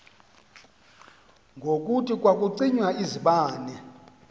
ngokuthi kwakucinywa izibane